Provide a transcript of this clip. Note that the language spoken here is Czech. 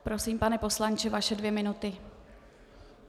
Prosím, pane poslanče, vaše dvě minuty.